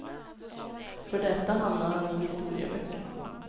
För detta hamnar han i historieböckerna.